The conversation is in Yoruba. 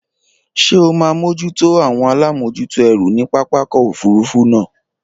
Ṣé o máa mójútó àwọn alámòjútó ẹrù ní pápákọ̀ òfurufú náà?